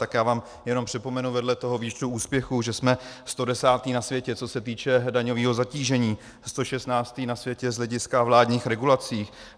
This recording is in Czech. Tak já vám jenom připomenu vedle toho výčtu úspěchů, že jsme 110. na světě, co se týče daňového zatížení, 116. na světě z hlediska vládních regulací.